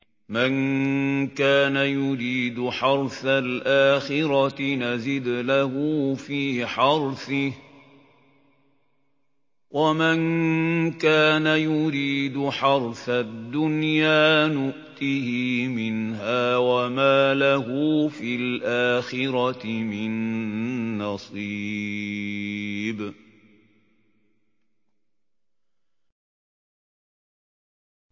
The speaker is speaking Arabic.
مَن كَانَ يُرِيدُ حَرْثَ الْآخِرَةِ نَزِدْ لَهُ فِي حَرْثِهِ ۖ وَمَن كَانَ يُرِيدُ حَرْثَ الدُّنْيَا نُؤْتِهِ مِنْهَا وَمَا لَهُ فِي الْآخِرَةِ مِن نَّصِيبٍ